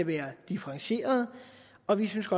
være differentieret og vi synes